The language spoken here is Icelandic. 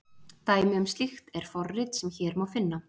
Dæmi um slíkt er forrit sem hér má finna.